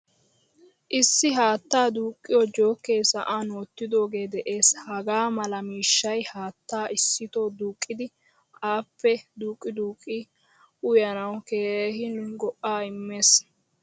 Issi haattaa duqiyo joke sa'an wottidoge de'ees. Hagaa mala miishshay haattaa issitoo duqqidi appe duqqi duqqi uyanawu keehin go'a immees.